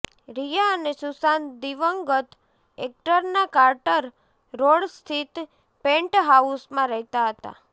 રિયા અને સુશાંત દિવંગત એક્ટરના કાર્ટર રોડ સ્થિત પેન્ટહાઉસમાં રહેતા હતા